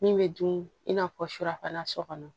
Min bɛ dun i n'a fɔ surafana so kɔnɔ